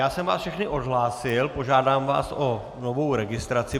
Já jsem vás všechny odhlásil, požádám vás o novou registraci.